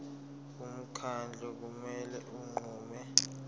umkhandlu kumele unqume